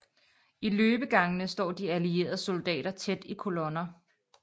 I løbegangene står de allieredes soldater tæt i kolonner